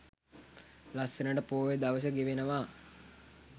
ලස්සනට පෝය දවස ගෙවනවා.